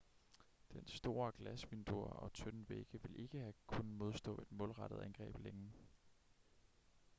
dens store glasvinduer og tynde vægge ville ikke have kunnet modstå et målrettet angreb længe